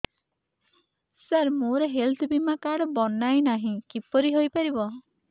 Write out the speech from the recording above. ସାର ମୋର ହେଲ୍ଥ ବୀମା କାର୍ଡ ବଣାଇନାହିଁ କିପରି ହୈ ପାରିବ